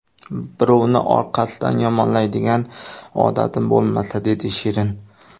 Birovni orqasidan yomonlaydigan odatim bo‘lmasa”, dedi Shirin.